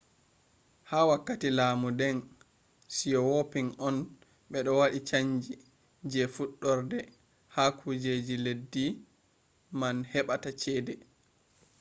ha wakkati laamu deng siyawoping on ɓe waɗi chanji je fuɗɗorde ha kujeji leddi man heɓata cede